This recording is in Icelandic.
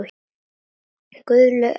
Guðlaug Edda.